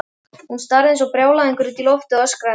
Hún starði eins og brjálæðingur út í loftið og öskraði.